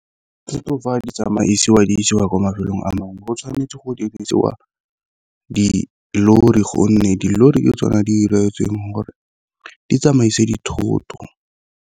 Dithoto fa di tsamaisiwa di isiwa kwa mafelong a mangwe go tshwanetse go dirisiwa dilori, gonne dilori ke tsona di 'iretsweng gore di tsamaise dithoto.